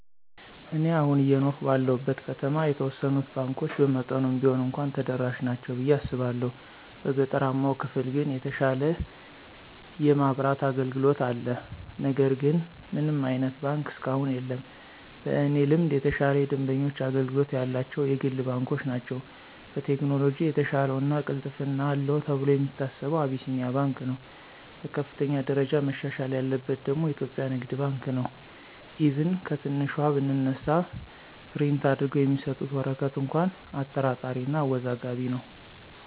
እኔ አሁን አየኖርሁ ባለሁበት ከተማ የተወሰኑት ባንኮች በመጠኑም ቢሆን እንኳ ተደራሽ ናቸው ብየ አስባለሁ። በገጠራማው ክፍል ግን የተሻለ የማብራት አገልግሎት አለ ነገር ግን ምንም አይነት ባንክ እስካሁን የለም። በእኔ ልምድ የተሻለ የደንበኞች አገልግሎት ያላቸው የግል ባንኮች ናቸው። በቴክኖሎጅ የተሻለው እና ቅልጥፍና አለው ተብሎ የሚታሰበው አቢሲንያ ባንክ ነው። በከፍተኛ ደረጃ መሻሻል ያለበት ደግሞ ኢትዮጵያ ንግድ ባንክ ነው፤ ኢቭን ከትንሿ ብንነሳ ፕሪንት አድርገው የሚሰጡት ወረቀት እንኳ አጠራጣሪ እና አወዛጋቢ ነው።